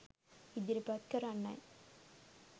ඉදිරිපත් කරන්නයි.